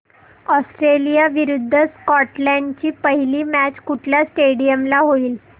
Australia विरुद्ध Scotland ची पहिली मॅच कुठल्या स्टेडीयम ला होईल